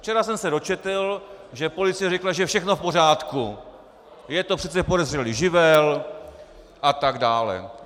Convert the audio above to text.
Včera jsem se dočetl, že policie řekla, že je všechno v pořádku, je to přece podezřelý živel a tak dále.